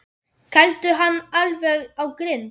Kældu hann alveg á grind.